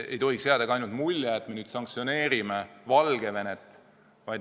Ei tohiks jääda mulje, et me nüüd ainult sanktsioneerime Valgevenet.